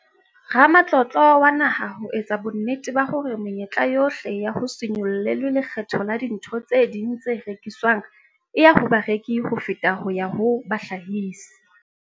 Ramatlotlo wa Naha ho etsa bonnete ba hore menyetla yohle ya ho se nyollelwe lekgetho la dintho tse ding tse rekiswang e ya ho bareki ho feta ho ya ho bahlahisi.